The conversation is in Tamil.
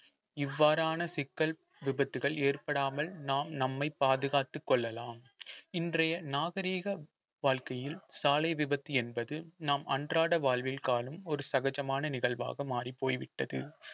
இவ்வாறான சிக்கல் விபத்துகள் ஏற்படாமல் நாம் நம்மை பாதுகாத்துக் கொள்ளலாம் இன்றைய நாகரீக வாழ்க்கையில் சாலை விபத்து என்பது நம் அன்றாட வாழ்வில் காணும் ஒரு சகஜமான நிகழ்வாக மாறிப் போய்விட்டது